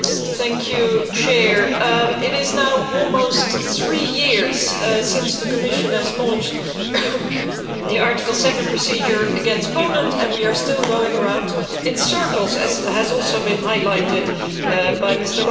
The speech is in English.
Mr President, it is now almost three years since the Commission has launched the Article 7 procedure against Poland and we are still going round in circles, as has also been highlighted by Mr López Aguilar.